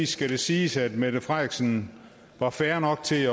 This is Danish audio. skal det siges at mette frederiksen var fair nok til